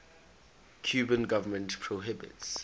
cuban government prohibits